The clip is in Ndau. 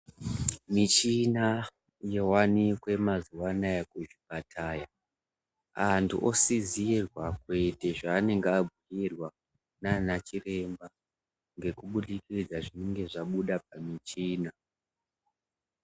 Michina yovanike mazuva anaya kuzvipataya. Antu osizirwa kuite zvanenge abhuirwa nana chiremba ngekubudikidza zvinengi zvabuda pamichina.